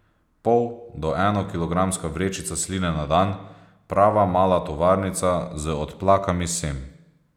Pol do eno kilogramska vrečica sline na dan, prava mala tovarnica z odplakami sem.